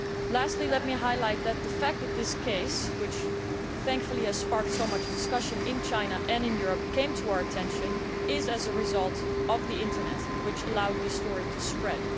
Lastly, let me highlight the fact that this case, which thankfully has sparked so much discussion in China and in Europe, came to our attention as a result of the Internet, which allowed this story to spread.